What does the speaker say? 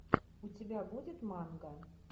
у тебя будет манга